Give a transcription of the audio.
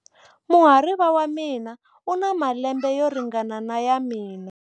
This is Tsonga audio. Muhariva wa mina u na malembe yo ringana na ya mina.